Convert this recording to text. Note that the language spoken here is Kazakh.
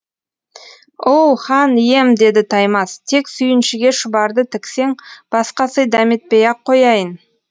оу хан ием деді таймас тек сүйіншіге шұбарды тіксең басқа сый дәметпей ақ қояйын